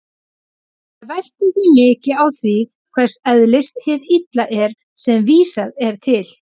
Það veltur því mikið á því hvers eðlis hið illa er sem vísað er til.